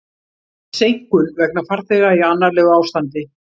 Seinkun vegna farþega í annarlegu ástandi